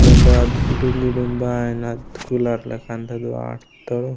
मेंडे अद गुडुम गुडुम बायनात कूलर लगन ता वाटतोरु --